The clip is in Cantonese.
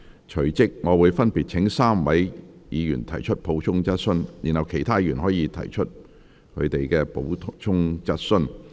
隨即我會分別請該3位議員提出補充質詢，然後其他議員可提出補充質詢。